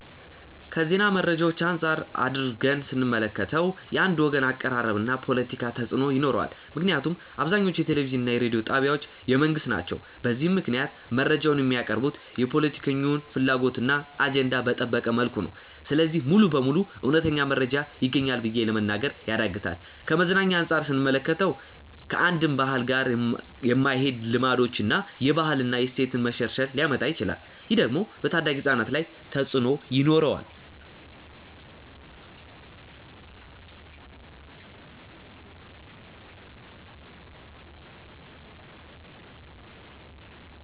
ከዜና መረጃዎች አንፃር አድርገን ስንመለከተው። የአንድ ወገን አቀራረብ እና ፖለቲካ ተፅእኖ ይኖረዋል ምክንያቱም አብዛኞቹ የቴሌቪዥን እና የሬዲዮ ጣቢያዎች የመንግስት ናቸው። በዚህም ምክንያት መረጃዎች የሚቀርቡት የፖለቲከኞችን ፍላጎት እና አጀንዳ በጠበቀ መልኩ ነው። ስለዚህ ሙሉ በሙሉ እውነተኛ መረጃ ይገኛል ብሎ ለመናገር ያዳግታል። ከመዝናኛ አንፃር ስንመለከተው። ከአንድን ባህል ጋር የማይሄዱ ልማዶችን እና የባህል እና የእሴት መሸርሸር ሊያመጣ ይችላል። ይህ ደግሞ በታዳጊ ህፃናት ላይ ተፅእኖ ይኖረዋል።